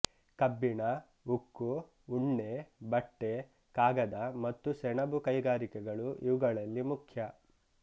ಕಬ್ಬಿಣ ಉಕ್ಕು ಉಣ್ಣೆ ಬಟ್ಟೆ ಕಾಗದ ಮತ್ತು ಸೆಣಬು ಕೈಗಾರಿಕೆಗಳು ಇವುಗಳಲ್ಲಿ ಮುಖ್ಯ